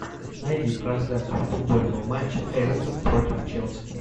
найди трансляцию футбольного матча эвертон против челси